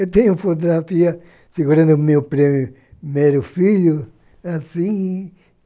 Eu tenho fotografia segurando o meu primeiro filho, assim.